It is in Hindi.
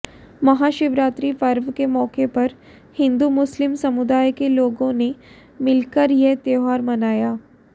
महाशिवरात्रि पर्व के मौके पर हिंदू मुस्लिम समुदाय के लोगों ने मिलकर यह त्योहार मनाया